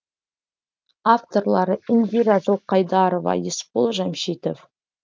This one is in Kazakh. авторлары индира жылқайдарова есбол жәмшитов